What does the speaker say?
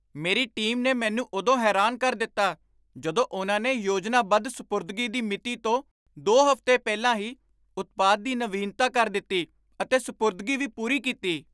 ਮੇਰੀ ਟੀਮ ਨੇ ਮੈਨੂੰ ਉਦੋਂ ਹੈਰਾਨ ਕਰ ਦਿੱਤਾ ਜਦੋਂ ਉਨ੍ਹਾਂ ਨੇ ਯੋਜਨਾਬੱਧ ਸਪੁਰਦਗੀ ਦੀ ਮਿਤੀ ਤੋਂ ਦੋ ਹਫ਼ਤੇ ਪਹਿਲਾਂ ਹੀ ਉਤਪਾਦ ਦੀ ਨਵੀਨਤਾ ਕਰ ਦਿੱਤੀ ਅਤੇ ਸਪੁਰਦਗੀ ਵੀ ਪੂਰੀ ਕੀਤੀ